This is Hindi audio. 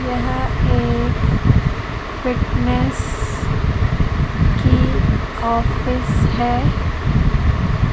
यहां पे फिटनेस की ऑफिस है।